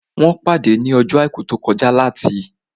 Wọ́n pàdé ní ọjọ́ àìkú tó kọjá láti